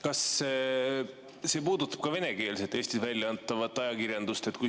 Kas see puudutab ka venekeelset Eestis väljaantavat ajakirjandust?